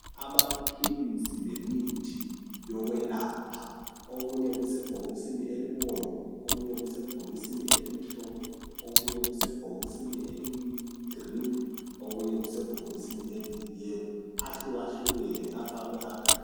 Amaphilisi lemithi yokwelapha okunye kusebhokisini elibomvu, okunye kusebhokisini elimhlophe, okunye kusebhokisini eliyigreen, okunye kusebhokisini eliyiyellow ahlukahlukene afakwe agadana.